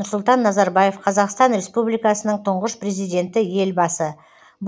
нұрсұлтан назарбаев қазақстан республикасының тұңғыш президенті елбасы